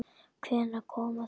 Hvenær koma þau aftur?